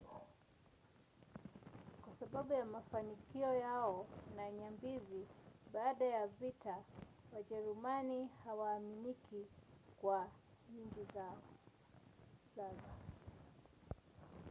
kwa sababu ya mafanikio yao na nyambizi baada ya vita wajerumani hawaaminiki kuwa na nyingi zazo